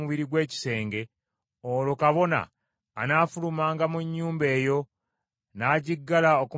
olwo kabona anaafulumanga mu nnyumba eyo, n’agiggala okumala ennaku musanvu.